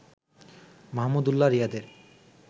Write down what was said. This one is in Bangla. মাহমুদুল্লাহ রিয়াদের